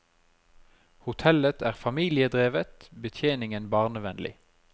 Hotellet er familiedrevet, betjeningen barnevennlig.